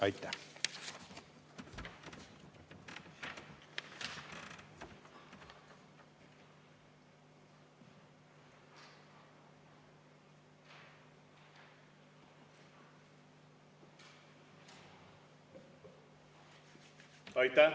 Aitäh!